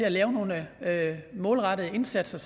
at lave nogle målrettede indsatser